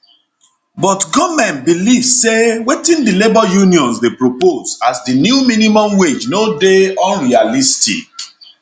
but goment believe sday wetin di labour unions dey propose as di new minimum wage no dey unrealistic